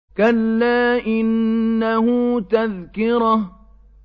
كَلَّا إِنَّهُ تَذْكِرَةٌ